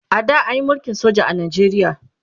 a da anyi mulkin soja a Najeriya